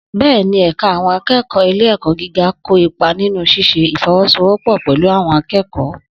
Bẹ́ẹ̀ni, ẹ̀ka àwọn akẹ́kọ̀ọ́ ilé-ẹ̀kọ́ gíga kó ipa nínú ṣíṣe ìfọwọ́sowọ́pọ̀ pẹ̀lú àwọn akẹ́kọ̀